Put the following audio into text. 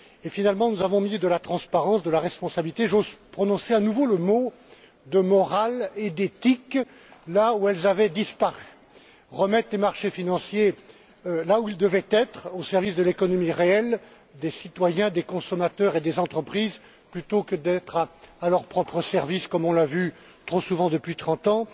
Finalement, nous avons mis de la transparence, de la responsabilité j'ose prononcer à nouveau les mots de morale et d'éthique là où elles avaient disparu et remis les marchés financiers là où ils devaient être, à savoir, au service de l'économie réelle, des citoyens, des consommateurs et des entreprises au lieu d'être à leur propre service, comme on l'a vu trop souvent depuis trente ans.